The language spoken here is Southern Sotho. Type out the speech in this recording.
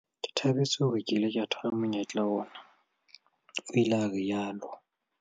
"Ke thabetse hore ke ile ka thola monyetla ona," o ile a rialo.